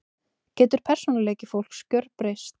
Getur persónuleiki fólks gerbreyst?